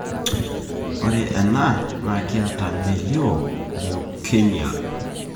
ore ena na kitaa melio leukemia.